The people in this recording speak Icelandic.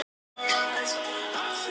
Hvað er samfélag?